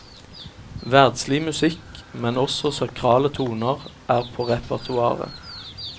Verdslig musikk, men også sakrale toner er på repertoaret.